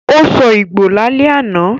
Ó sọ Ìgbò lálẹ́ àná